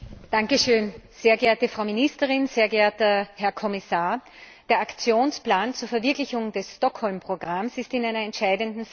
Herr Präsident, sehr geehrte Frau Ministerin, sehr geehrter Herr Kommissar! Der Aktionsplan zur Verwirklichung des Stockholmer Programms ist in einer entscheidenden Phase.